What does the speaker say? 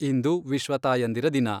ಇಂದು ವಿಶ್ವ ತಾಯಂದಿರ ದಿನ.